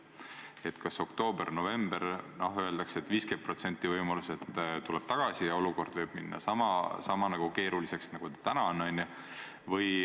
Öeldakse, et oktoobris-novembris on 50% võimalus, et see tuleb tagasi ja olukord võib minna sama keeruliseks nagu täna.